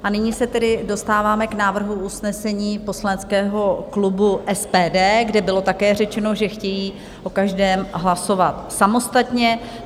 A nyní se tedy dostáváme k návrhu usnesení poslaneckého klubu SPD, kde bylo také řečeno, že chtějí o každém hlasovat samostatně.